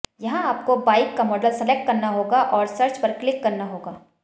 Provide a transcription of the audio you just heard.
यहां आपको बाइक का मॉडल सलेक्ट करना होगा और सर्च पर क्लिक करना होगा